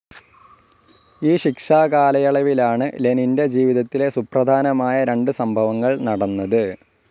ഈ ശിക്ഷാകാലയളവിലാണ് ലനിൻ്റെ ജീവിതത്തിലെ സുപ്രധാനമായ രണ്ട് സംഭവങ്ങൾ നടന്നത്.